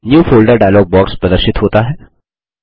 new folder dialog box प्रदर्शित होता है